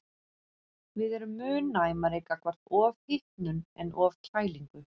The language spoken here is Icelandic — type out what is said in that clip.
Við erum mun næmari gagnvart ofhitnun en ofkælingu.